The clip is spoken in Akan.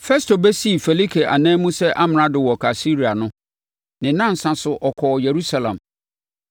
Festo bɛsii Felike ananmu sɛ amrado wɔ Kaesarea no, ne nnansa so ɔkɔɔ Yerusalem.